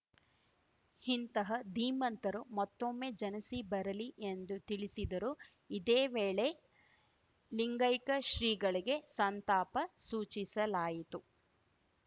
ಇಂತಹ ಧೀಮಂತರು ಮತ್ತೊಮ್ಮೆ ಜನಿಸಿ ಬರಲಿ ಎಂದು ತಿಳಿಸಿದರು ಇದೇ ವೇಳೆ ಲಿಂಗೈಕ ಶ್ರೀಗಳಿಗೆ ಸಂತಾಪ ಸೂಚಿಸಲಾಯಿತು